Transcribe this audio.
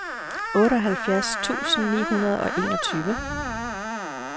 otteoghalvfjerds tusind ni hundrede og enogtyve